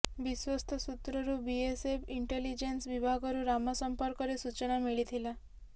ବିଶ୍ୱସ୍ତ ସୂତ୍ରରୁ BSF intelligence ବିଭାଗକୁ ରାମ ସଂପର୍କରେ ସୂଚନା ମିଳିଥିଲା